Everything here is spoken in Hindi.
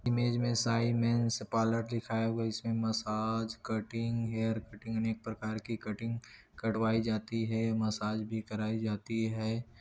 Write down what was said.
इमेज में साइमंस पार्लर दिखाया हुई इसमें मसाज कटिंग हेयर कटिंग अनेक प्रकार की कटिंग कटवाई जाती है मसाज भी कराई जाती है।